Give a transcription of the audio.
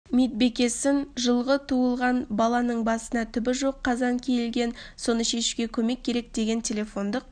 медбикесінен жылғы туылған баланың басына түбі жоқ қазан киілген соны шешуге көмек керек деген телефондық